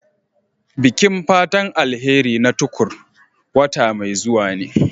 Bikin fatan alheri na Tukur wata mai zuwa ne.